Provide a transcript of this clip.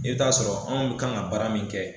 I bɛ t'a sɔrɔ anw k'an ka baara min kɛ.